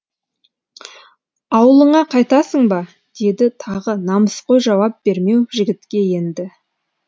аулыңа қайтасың ба деді тағы намыс қой жауап бермеу жігітке енді